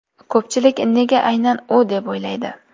Ko‘pchilik nega aynan u deb o‘ylaydi.